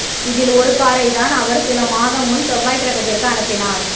இதில் ஒரு காரைத்தான் அவர் சில மாதம் முன் செவ்வாய் கிரகத்திற்கு அனுப்பினார்